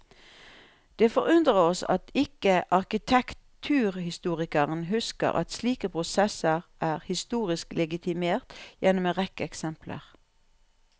Det forundrer oss at ikke arkitekturhistorikeren husker at slike prosesser er historisk legitimert gjennom en rekke eksempler.